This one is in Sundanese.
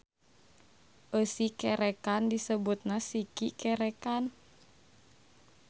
Eusi kerekan disebutna siki kerekan.